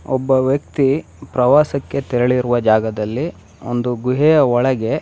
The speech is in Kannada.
ಒಬ್ಬ ವ್ಯಕ್ತಿ ಪ್ರವಾಸಕ್ಕೆ ತೆರೆಳಿರುವ ಜಾಗದಲ್ಲಿ ಒಂದು ಗುಹೆಯ ಒಳಗೆ --